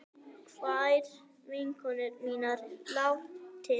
Kær vinkona mín er látin.